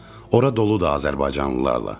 Ora doludur azərbaycanlılarla.